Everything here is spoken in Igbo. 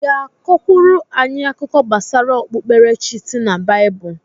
ị ga-akọkwuru anyị akụkọ gbasara okpukpere chi si na Baịbụl?